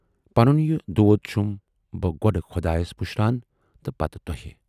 پَنُن یہِ دود چُھم بہٕ گۅڈٕ خۅدایَس پُشران تہٕ پتہٕ تۅہہِ۔